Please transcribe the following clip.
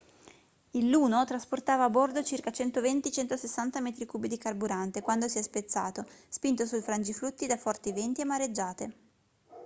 il luno trasportava a bordo circa 120-160 metri cubi di carburante quando si è spezzato spinto sul frangiflutti da forti venti e mareggiate